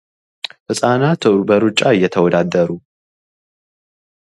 ህፃናት በሩጫ እየተወዳደሩ